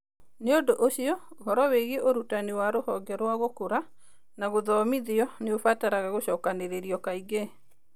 Nĩ ũndũ ũcio, ũhoro wĩgiĩ ũrutani wa Rũhonge rwa Gũkũra na Gũthomithio nĩ ũbataraga gũcokanĩrĩrio kaingĩ.